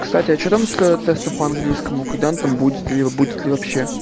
кстати а что там с тестом по английскому когда он там будет ли будет ли вообще